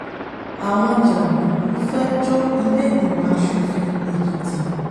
àwọn jàǹdùkú fẹ́ẹ́ jó ìlẹ́ẹ̀gbìmọ̀ asòfin èkìtì